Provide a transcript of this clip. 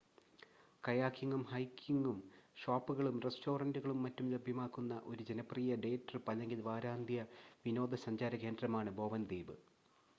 കയാക്കിംഗും ഹൈക്കിംഗും ഷോപ്പുകളും റെസ്റ്റോറൻ്റുകളും മറ്റും ലഭ്യമാക്കുന്ന ഒരു ജനപ്രിയമായ ഡേ ട്രിപ്പ് അല്ലെങ്കിൽ വാരാന്ത്യ വിനോദ സഞ്ചാര കേന്ദ്രമാണ് ബോവൻ ദ്വീപ്